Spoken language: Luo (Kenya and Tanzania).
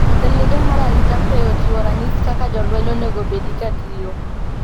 Jatend migao mar arita kwe ochiwo ranyisi kaka jolweny onegobedi katiyo